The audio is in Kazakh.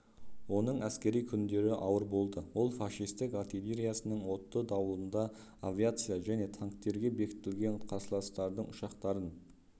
оның әскери күндері ауыр болды ол фашистік артиллериясының отты дауылында авиация және танктерге бекітілген қарсыластардың ұшақтарын